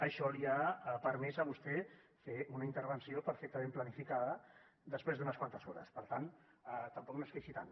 això li ha permès a vostè fer una intervenció perfectament planificada després d’unes quantes hores per tant tampoc no es queixi tant